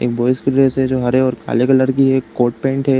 एक बॉयज कि ड्रेस जो हरे और काले कलर की है। एक कोट पेंट हैं।